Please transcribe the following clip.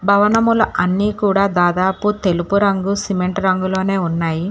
భవనములు అన్నీ కూడా దాదాపు తెలుపు రంగు సిమెంట్ రంగులోనే ఉన్నాయి